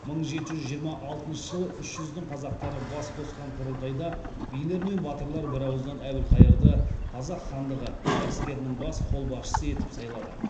мың жеті жүз жиырма алтыншы жылы үш жүздің қазақтары бас қосқан құрылтайда билер мен батырлар бірауыздан әбілқайырды қазақ хандығы әскерінің бас қолбасшысы етіп сайлады